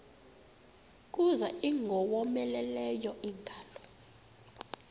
kuza ingowomeleleyo ingalo